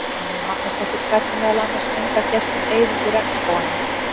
Rannveig Magnúsdóttir fræddi meðal annars unga gesti um eyðingu regnskóganna.